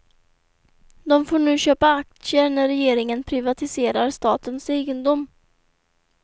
De får nu köpa aktier när regeringen privatiserar statens egendom.